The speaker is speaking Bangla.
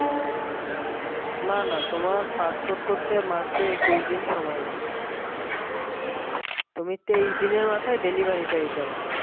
না না তোমার passport করতে মাত্র একুশ দিন সময় লাগে তুমি তেইশ দিনের মাথায় delivery পেয়ে যাবা